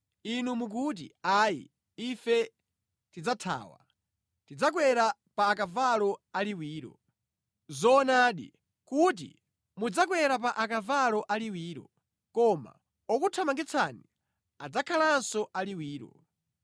Inu mukuti, ‘Ayi ife tidzathawa, tidzakwera pa akavalo aliwiro.’ Zoonadi kuti mudzakwera pa akavalo aliwiro, koma okuthamangitsani adzakhalanso aliwiro.